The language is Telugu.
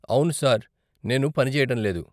అవును, సార్, నేను పని చేయటం లేదు.